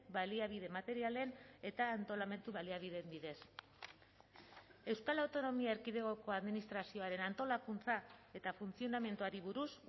baliabide materialen eta antolamendu baliabideen bidez euskal autonomia erkidegoko administrazioaren antolakuntza eta funtzionamenduari buruz